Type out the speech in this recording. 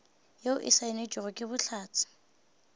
yeo e saenetšwego ke bohlatse